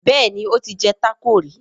Béèni o tí jé taco rí.